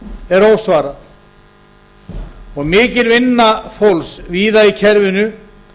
er ósvarað og mikil vinna fólks víða í kerfinu